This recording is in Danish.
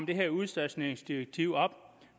det her udstationeringsdirektiv